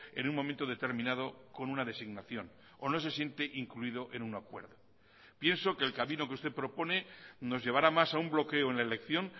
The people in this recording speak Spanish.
en un momento determinado con una designación o no se siente incluido en un acuerdo pienso que el camino que usted propone nos llevará más a un bloqueo en la elección